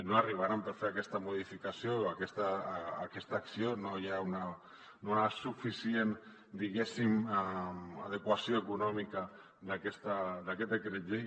no arribaran per fer aquesta modificació aquesta acció no hi ha suficient diguéssim adequació econòmica d’aquest decret llei